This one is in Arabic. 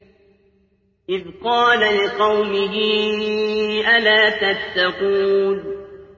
إِذْ قَالَ لِقَوْمِهِ أَلَا تَتَّقُونَ